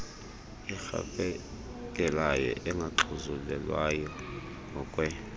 erhafelekayo engaxhuzulelwayo ngokwe